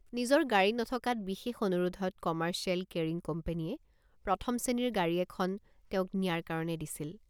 নিজৰ গাড়ী নথকাত বিশেষ অনুৰোধত কমাৰ্চিয়েল কেৰিং কোম্পানীয়ে প্ৰথম শ্ৰেণীৰ গাড়ী এখন তেওঁক নিয়াৰ কাৰণে দিছিল।